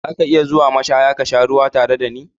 Za ki iya zuwa mashaya ka sha ruwa tare da ni?